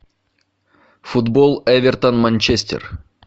футбол эвертон манчестер